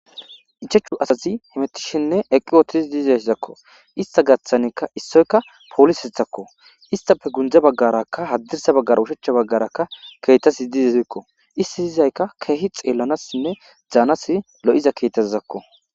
Ichechu asazi hemetishenne eqqi wootis diizazakko ista gaththanekka issoyka poolis hithakko istafe gundza baggarakka haddirsa baggara ushechcha baggarakka keetasi diizezekko issi diyizaykka keehi xeellanassinne zaanasi lo7iza keetasizakko